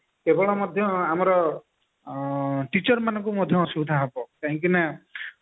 କେବଳ ମଧ୍ୟ ଆମର ଆଁ teacher ମାନଙ୍କୁ ମଧ୍ୟ ଅସୁବିଧା ହେବ କାହିଁକି ନା